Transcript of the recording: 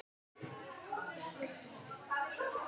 Minning um góðan frænda lifir.